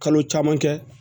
Kalo caman kɛ